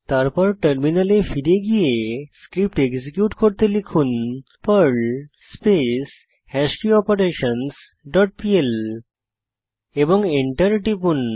তারপর টার্মিনালে ফিরে গিয়ে স্ক্রিপ্ট এক্সিকিউট করুন পার্ল স্পেস হ্যাশকিওপারেশনসহ ডট পিএল এবং এন্টার টিপুন